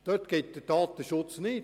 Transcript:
Gilt dieser in diesem Rahmen nicht?